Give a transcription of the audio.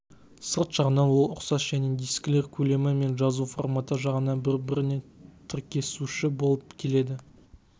сырт жағынан ол ұқсас және дискілер көлемі мен жазу форматы жағынан бір-біріне тіркесуші болып келеді